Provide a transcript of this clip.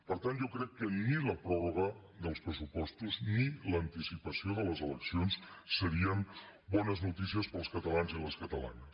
per tant jo crec que ni la pròrroga dels pressupostos ni l’anticipació de les eleccions serien bones noticies per als catalans i les catalanes